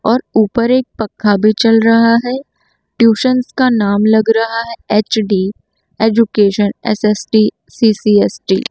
और ऊपर एक पखा भी चल रहा है ट्यूशनस का नाम लग रहा है एच_डी एजुकेशन एस_एस_टी सी_सी_एस_टी ।